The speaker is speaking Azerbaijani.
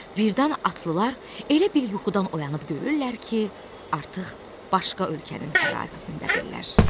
Birdən atlılar elə bil yuxudan oyanıb görürlər ki, artıq başqa ölkənin ərazisindədirlər.